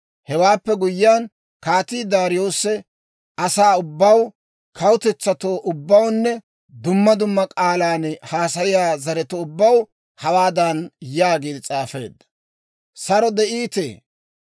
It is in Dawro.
Hewaappe guyyiyaan, Kaatii Daariyoose asaa ubbaw, kawutetsatoo ubbawunne dumma dumma k'aalan haasayiyaa zaretoo ubbaw hawaadan yaagiide s'aafeedda: «Saro de'iitee!